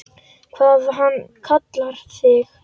Hvað hann kallar þig?